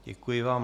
Děkuji vám.